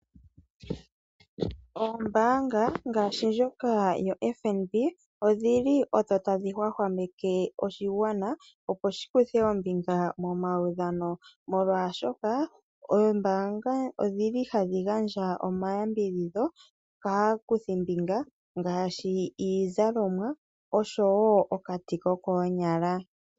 Oombaanga ngaashi ndjoka ya FNB, odhili odho tadhi hwahwaeke oshigwana opo shi kuthe ombinga momaudhano, molwaashoka, oombaanga odhili hadhi gandja omayambidhidho kaakuthimbinga ngaashi iizalomwa, osho wo okati kokoonyala.